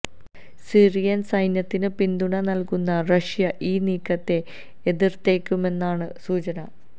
Syrian സൈന്യത്തിന് പിന്തുണ നല്കുന്ന റഷ്യ ഈ നീക്കത്തെ എതിര്ത്തേക്കുമെന്നാണ് സൂചന